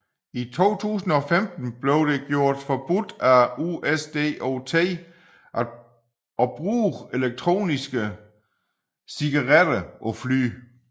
I 2015 blev det gjort forbudt af USDOT at bruge elektroniske cigaretter på fly